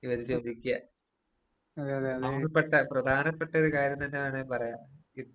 ഇവര് ചോദിക്ക്യ. നമുക്ക് പെട്ട പ്രധാനപ്പെട്ടൊര് കാര്യംന്ന് തന്നെ വേണെങ്കിൽ പറയാം ഇത്.